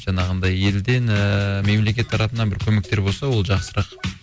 жаңағындай елден ііі мемлекет тарапынан бір көмектер болса ол жақсырақ